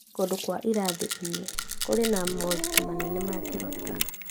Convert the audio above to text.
Kũndũ kwa irathi-inĩ kũrĩ na moritũ manene mangĩhota